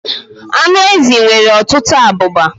Anụ ezi nwere ọtụtụ abụba.